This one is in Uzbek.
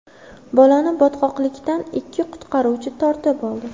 Bolani botqoqlikdan ikki qutqaruvchi tortib oldi.